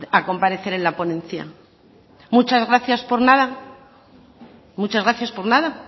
a comparecer en la ponencia muchas gracias por nada muchas gracias por nada